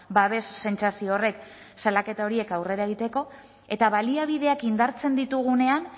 babes sentsazio horrek salaketa horiek aurrera egiteko eta baliabideak indartzen ditugunean